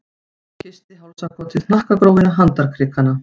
Og kyssti hálsakotið, hnakkagrófina, handarkrikana.